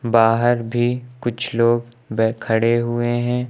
बाहर भी कुछ लोग बै खड़े हुए हैं।